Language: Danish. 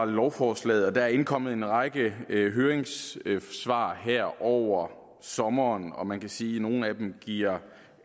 lovforslaget og der er indkommet en række høringssvar her over sommeren og man kan sige at nogle af dem giver